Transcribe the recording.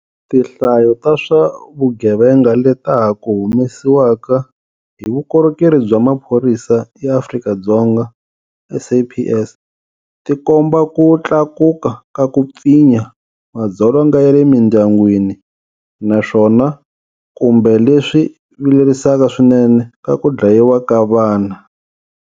Tinhlayo ta swa vugevenga leta ha ku humesiwaka hi Vukorhokeri bya Maphorisa ya Afrika-Dzonga, SAPS, ti komba ku tlakuka ka ku pfinya, madzolonga ya le mindyangwini, naswona kumbe leswi vilerisaka swinene, ka ku dlayiwa ka vana.